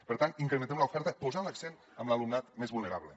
per tant incrementem l’oferta posant l’accent en l’alumnat més vulnerable